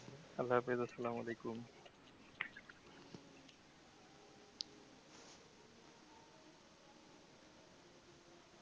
আল্লা হাফিজ আসালাম ওয়ালিকুম।